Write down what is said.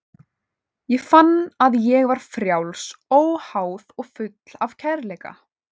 Ég fann að ég var frjáls, óháð og full af kærleika.